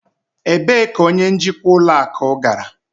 Ebee ka onye njikwa ụlọ akụ gara?